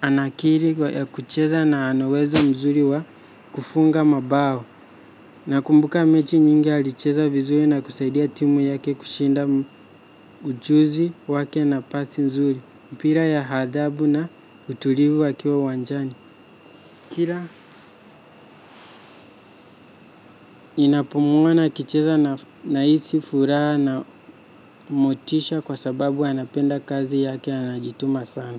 ana akili ya kucheza na ana uwezo mzuri wa kufunga mabao. Nakumbuka mechi nyingi alicheza vizuri na kusaidia timu yake kushinda ujuzi wake na pasi nzuri. Mpira ya hadhabu na utulivu akiwa uwanjani. Kila ninapomwona akicheza nahisi furaha na motisha kwa sababu anapenda kazi yake anajituma sana.